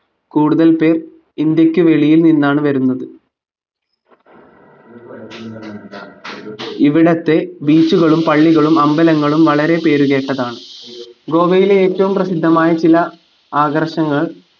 കൂടുതൽ പേർ ഇന്ത്യക്ക് വെളിയിൽ നിന്നാണ് വരുന്നത് ഇവിടത്തെ beach കളും പള്ളികളും അമ്പലങ്ങളും വളരെ പേരുകേട്ടതാണ് ഗോവയിലെ ഏറ്റവും പ്രസിദ്ധമായ ചില ആകർഷങ്ങൾ